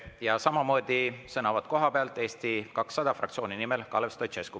Ja samamoodi sõnavõtt kohapealt, Eesti 200 fraktsiooni nimel Kalev Stoicescu.